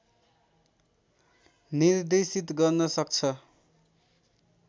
निर्देशित गर्न सक्छ